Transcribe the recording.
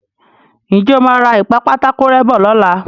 Ǹ jẹ́ o máa ra ìpa-pátákó-rẹ́ bọ̀ lọ́la.